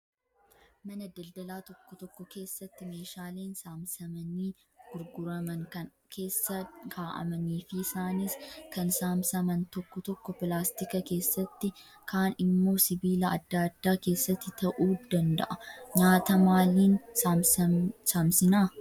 Mana daldalaa tokko tokko keessatti meeshaaleen saamsamanii gurguraman kan keessa kaa'amanii fi isaanis kan saamasaman tokko tokko pilaastika keessatti, kaan immoo sibiilaa adda addaa keessatti ta'uu danda'a. Nyaata maaliin saamsamsinaa?